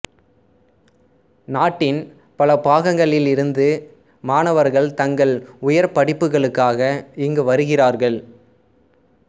நாட்டின் பல பாகங்களிலிருந்து மாணவர்கள் தங்கள் உயர் படிப்புகளுக்காக இங்கு வருகிறார்கள்